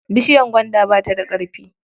Bishiyar gwaanda bata da ƙarfi.